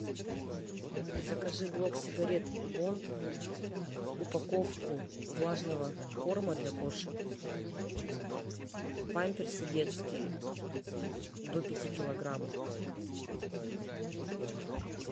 закажи блок сигарет бонд упаковку влажного корма для кошек памперсы детские до пяти килограмм